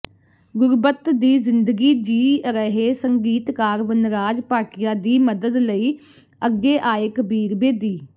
ਗੁਰਬੱਤ ਦੀ ਜ਼ਿੰਦਗੀ ਜੀਅ ਰਹੇ ਸੰਗੀਤਕਾਰ ਵਨਰਾਜ ਭਾਟੀਆ ਦੀ ਮਦਦ ਲਈ ਅੱਗੇ ਆਏ ਕਬੀਰ ਬੇਦੀ